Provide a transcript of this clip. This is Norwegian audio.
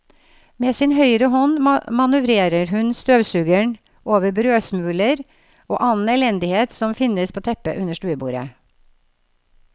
Med sin høyre hånd manøvrerer hun støvsugeren over brødsmuler og annen elendighet som finnes på teppet under stuebordet.